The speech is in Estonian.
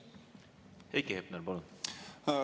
Heiki Hepner, palun!